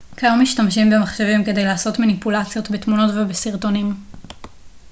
כיום משתמשים במחשבים כדי לעשות מניפולציות בתמונות ובסרטונים